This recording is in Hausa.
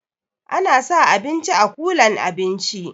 Ana sa abinci a kulan abinci